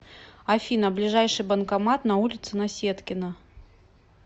афина ближайший банкомат на улице наседкина